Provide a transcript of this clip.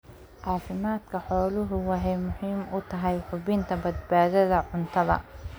Caafimaadka xooluhu waxay muhiim u tahay hubinta badbaadada cuntada.